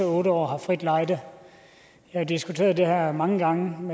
otte år har frit lejde jeg har diskuteret det her mange gange